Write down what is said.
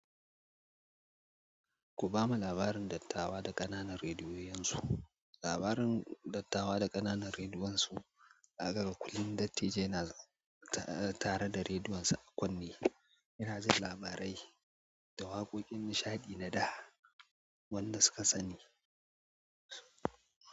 Ku ba ma labarin dattawa da ƙananan rediyoyin su. Labarin dattawa da ƙananan rediyoyin su zakaga kullum dattijai na tare da rediyonsa a kunne yana jin labarai da waƙoƙin nishaɗi na da wanda suka sani.